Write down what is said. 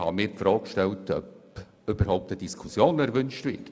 Ich habe mir die Frage gestellt, ob eine Diskussion überhaupt gewünscht wird.